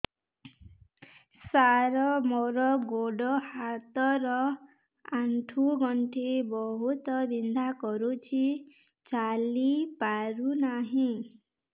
ସାର ମୋର ଗୋଡ ହାତ ର ଆଣ୍ଠୁ ଗଣ୍ଠି ବହୁତ ବିନ୍ଧା କରୁଛି ଚାଲି ପାରୁନାହିଁ